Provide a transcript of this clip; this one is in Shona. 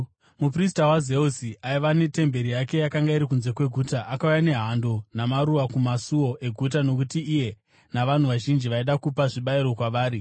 Muprista waZeusi aiva netemberi yake yakanga iri kunze kweguta, akauya nehando namaruva kumasuo eguta nokuti iye navanhu vazhinji vaida kupa zvibayiro kwavari.